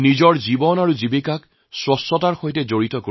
জীৱিকা উপাৰ্জনৰ সৈতে তেওঁ স্বচ্ছতাকে জড়িত কৰিছে